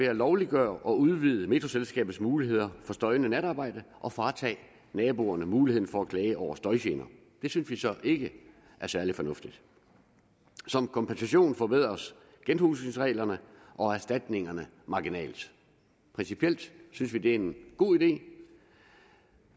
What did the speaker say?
at lovliggøre og udvide metroselskabets muligheder for støjende natarbejde og fratage naboerne muligheden for at klage over støjgener det synes vi så ikke er særlig fornuftigt som kompensation forbedres genhusningsreglerne og erstatningerne marginalt principielt synes vi det er en god idé